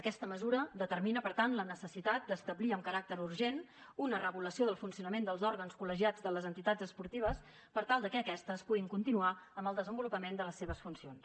aquesta mesura determina per tant la necessitat d’establir amb caràcter urgent una regulació del funcionament dels òrgans col·legiats de les entitats esportives per tal que aquestes puguin continuar amb el desenvolupament de les seves funcions